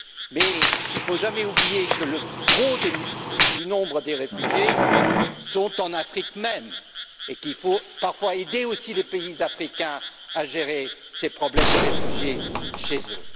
Mais il ne faut jamais oublier que la plus grosse partie des réfugiés se trouve en Afrique même, et qu'il faut parfois aussi aider les pays africains à gérer ces problèmes de réfugiés chez eux.